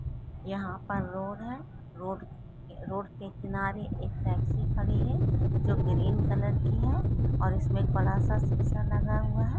यहां पर रोड है रोड रोड के किनारे एक टैक्सी खड़ी है जो ग्रीन कलर की है और उसमें एक बड़ा सा शीशा लगा हुआ है।